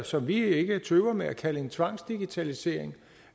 som vi ikke tøver med at kalde en tvangsdigitalisering